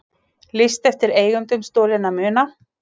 Lýst eftir eigendum stolinna muna